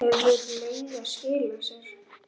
Hefur leiga skilað sér?